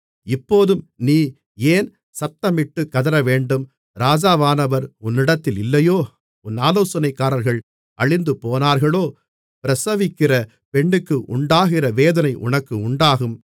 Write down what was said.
இப்போதும் நீ ஏன் சத்தமிட்டு கதறவேண்டும் ராஜாவானவர் உன்னிடத்தில் இல்லையோ உன் ஆலோசனைக்காரர்கள் அழிந்துபோனார்களோ பிரசவிக்கிற பெண்ணுக்கு உண்டாகிற வேதனை உனக்கு உண்டாகும்